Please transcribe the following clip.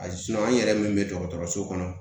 A an yɛrɛ min bɛ dɔgɔtɔrɔso kɔnɔ